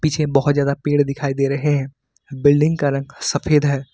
पीछे बहुत ज्यादा पेड़ दिखाई दे रहे हैं बिल्डिंग का रंग सफेद है।